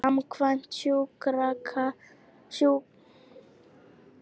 Samkvæmt sjúkraskrám þá voru einkenni hans meðal annars niðurgangur og uppköst auk hitafloga.